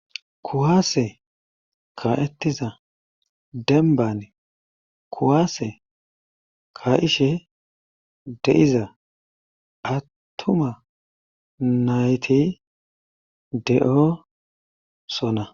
Kuwaase ka'ettiza denban kuwaase ka'ishe de;iza attuma nayti de'o sona.